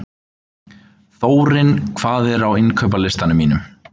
Þórinn, hvað er á innkaupalistanum mínum?